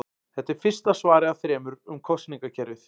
Þetta er fyrsta svarið af þremur um kosningakerfið.